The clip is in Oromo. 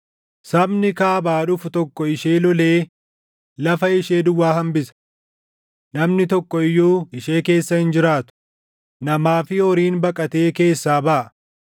Sabni Kaabaa dhufu tokko ishee lolee lafa ishee duwwaa hambisa. Namni tokko iyyuu ishee keessa hin jiraatu; namaa fi horiin baqatee keessaa baʼa.